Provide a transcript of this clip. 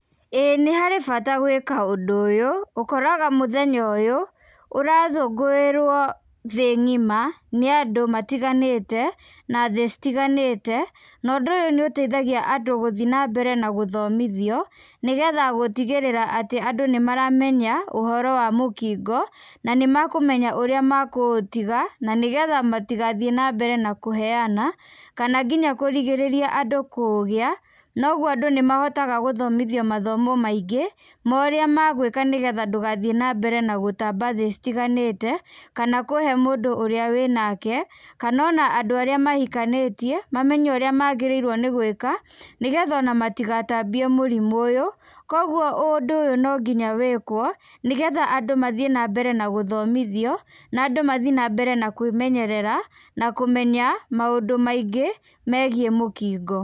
ĩĩ nĩ harĩ bata gwĩka ũndũ ũyũ, ũkoraga mũthenya ũyũ, ũrakũngũĩrwo thĩ ng'ima nĩ andũ matiganĩte, na thĩ citiganĩte, na ũndũ ũyũ nĩ ũteithagia andũ gũthi na mbere na gũthomithio, nĩ getha gũtigĩrĩra atĩ andũ nĩ maramenya ũhoro wa mũkingo, na nĩ makũmenya ũrĩa makũũtiga, na nĩ getha matigathiĩ na mbere na kũheana, kana nginya kũrigĩrĩria andũ kũũgĩa, na ũguo andũ nĩ mahotaga gũthomithio mathomo maingĩ, ma ũrĩa magwĩka nĩ getha ndũgathiĩ na mbere na gũtamba thĩ citiganĩte, kana kũhe mũndũ ũrĩa wĩnake, kana ona andũ arĩa mahikanĩtie mamenye ũrĩa magĩrĩirwo nĩ gwĩka, nĩ getha ona matigatambie mũrimũ ũyũ. Kũguo ũndũ ũyũ no nginya wĩkwo, nĩ getha andũ mathiĩ na mbere na gũthomithio na andũ mathi na mbere na kwĩmenyerera, na kũmenya maũndũ maingĩ megiĩ mũkingo.